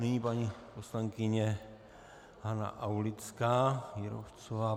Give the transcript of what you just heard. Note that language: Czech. Nyní paní poslankyně Hana Aulická Jírovcová.